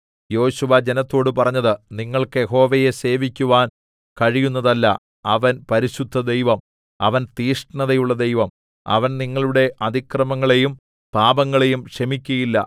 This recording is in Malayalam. യോശുവ ജനത്തോടു പറഞ്ഞത് നിങ്ങൾക്ക് യഹോവയെ സേവിക്കുവാൻ കഴിയുന്നതല്ല അവൻ പരിശുദ്ധദൈവം അവൻ തീക്ഷ്ണതയുള്ള ദൈവം അവൻ നിങ്ങളുടെ അതിക്രമങ്ങളെയും പാപങ്ങളെയും ക്ഷമിക്കയില്ല